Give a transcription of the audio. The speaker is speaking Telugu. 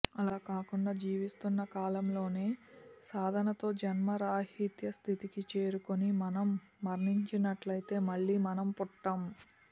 అలా కాకుండా జీవిస్తున్న కాలంలోనే సాధనతో జన్మరాహిత్య స్థితికి చేరుకుని మనం మరణించినట్లైతే మళ్లీ మనం పుట్టం